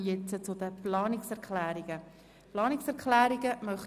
Über die einzelnen Planungserklärungen wird selbstverständlich einzeln abgestimmt.